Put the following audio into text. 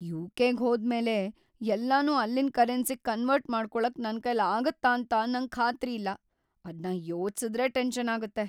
ಯು.ಕೆ.ಗ್ ಹೋದ್ಮೇಲೆ ಎಲ್ಲನೂ ಅಲ್ಲಿನ್ ಕರೆನ್ಸಿಗ್ ಕನ್ವರ್ಟ್ ಮಾಡ್ಕೊಳಕ್ ನನ್ಕೈಲ್ ಆಗತ್ತಾಂತ ನಂಗ್ ಖಾತ್ರಿಯಿಲ್ಲ, ಅದ್ನ ಯೋಚ್ಸುದ್ರೇ ಟೆನ್ಷನ್‌ ಆಗತ್ತೆ.